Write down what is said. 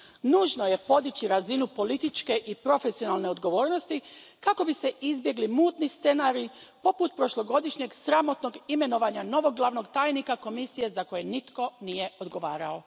Nužno je podići razinu političke i profesionalne odgovornosti kako bi se izbjegli mutni scenariji poput prošlogodišnjeg sramotnog imenovanja novog glavnog tajnika Komisije za koje nitko nije odgovarao.